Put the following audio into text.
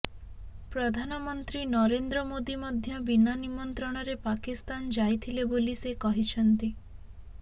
ପ୍ରଧାନମନ୍ତ୍ରୀ ନରେନ୍ଦ୍ର ମୋଦୀ ମଧ୍ୟ ବିନା ନିମନ୍ତ୍ରଣରେ ପାକିସ୍ତାନ ଯାଇଥିଲେ ବୋଲି ସେ କହିଛନ୍ତି